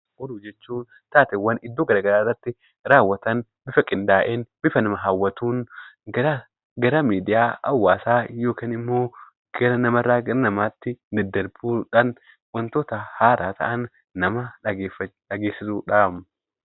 Oduun jechuun taateewwan iddoo garagaraatti bifa qindaa'een fi bifa nama hawwatuun gara miidiyaa hawaasaa gara namarraa namaatti daddarbuudhan wanta haara ta'e tokko nama dhaggeessisudha.